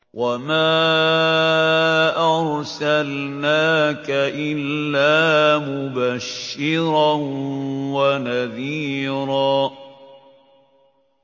وَمَا أَرْسَلْنَاكَ إِلَّا مُبَشِّرًا وَنَذِيرًا